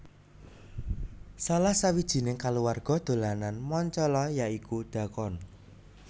Salah sawijining kaluwarga dolanan Mancala ya iku dhakon